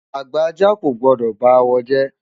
Àgbà ajá kò gbọ́dọ̀ ba awo jẹ́.